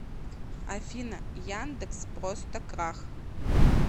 афина яндекс просто крах